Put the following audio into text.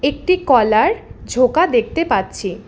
একটি কলার ঝোকা দেখতে পাচ্ছি।